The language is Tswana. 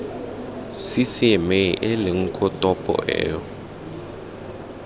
ccma eleng koo topo eo